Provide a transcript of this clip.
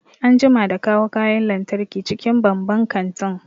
An jima da kawo kayan lantarki cikin banban kantin